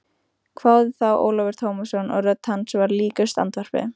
hváði þá Ólafur Tómasson og rödd hans var líkust andvarpi.